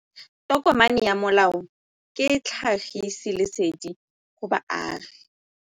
Tokomane ya molao ke tlhagisi lesedi go baagi.